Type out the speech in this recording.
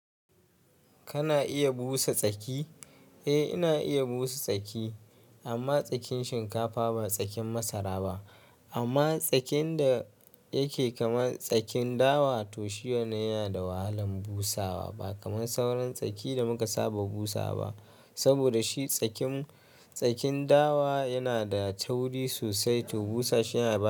Kana iya busa tsaki? Eh, ina iya busa tsaki amma tsakin shinkafa ba tsakin masara ba. Amma tsakin da yake kamar tsakin dawa to shi wannan yana da wahalan busawa ba kamar sauran tsaki da muka saba busawa ba. Saboda shi tsakin, tsakin dawa yana da tauri sosai to busa shi yana.